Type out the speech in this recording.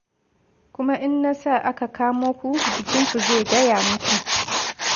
Kuma in na sa aka kamo ku, jikinku zai gaya muku.